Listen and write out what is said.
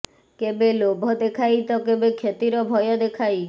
କେବେ ଲୋଭ ଦେଖାଇ ତ କେବେ କ୍ଷତିର ଭୟ ଦେଖାଇ